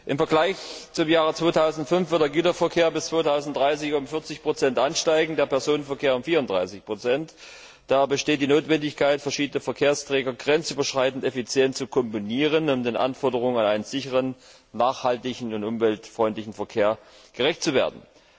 Im Vergleich zum Jahr 2005 wird der Güterverkehr bis 2030 um 40 ansteigen, der Personenverkehr um 34 Da besteht die Notwendigkeit, verschiedene Verkehrsträger grenzüberschreitend effizient zu kombinieren, um den Anforderungen an einen sicheren, nachhaltigen und umweltfreundlichen Verkehr gerecht zu werden.